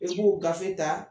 I b'u gafe ta